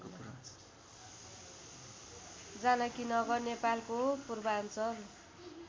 जानकीनगर नेपालको पूर्वाञ्चल